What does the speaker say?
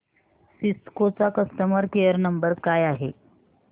Cisco चा customer care number काय आहे